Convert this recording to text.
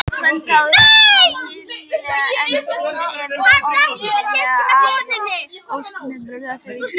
Brandháfurinn virkar silalegur en býr yfir ofsalegu afli og snerpu ef því er að skipa.